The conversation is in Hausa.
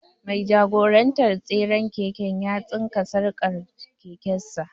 Mai jagorantar tseren keken ya tsinka sarƙar keken sa.